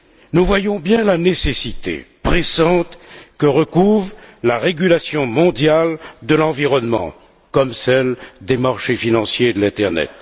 Nous voyons bien la nécessité pressante que recouvre la régulation mondiale de l'environnement, tout comme celle des marchés financiers et de l'internet.